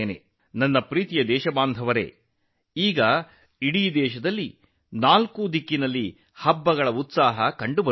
ನನ್ನ ಪ್ರೀತಿಯ ದೇಶವಾಸಿಗಳೇ ಈಗ ದೇಶದಾದ್ಯಂತ ಹಬ್ಬದ ಉತ್ಸಾಹವಿದೆ